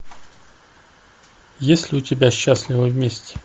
есть ли у тебя счастливы вместе